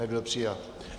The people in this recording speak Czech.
Nebyl přijat.